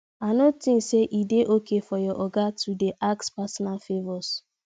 i no tink say e dey okay for your oga to dey ask personal favours